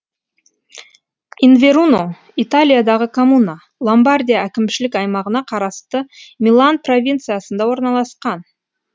инверуно италиядағы коммуна ломбардия әкімшілік аймағына қарасты милан провинциясында орналасқан